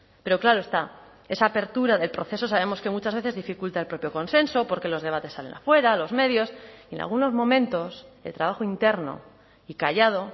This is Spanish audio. pero claro está esa apertura del proceso sabemos que muchas veces dificulta el propio consenso porque los debates salen afuera los medios y en algunos momentos el trabajo interno y callado